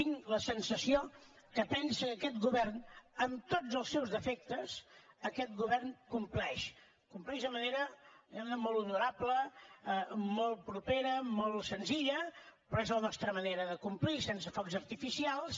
tinc la sensació que pensa que aquest govern amb tots els seus defectes compleix compleix de manera molt honorable molt propera molt senzilla però és la nostra manera de complir sense focs artificials